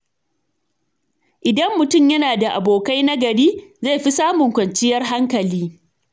Idan mutum yana da abokai nagari, zai fi samun kwanciyar hankali.